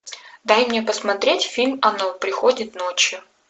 дай мне посмотреть фильм оно приходит ночью